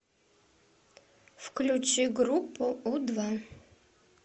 включи группу у два